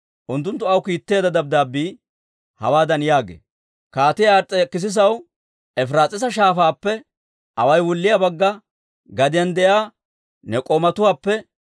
Unttunttu aw kiitteedda dabddaabbii hawaadan yaagee; «Kaatiyaa Ars's'ekissisaw, Efiraas'iisa Shaafaappe away wulliyaa Bagga gadiyaan de'iyaa ne k'oomatuwaappe: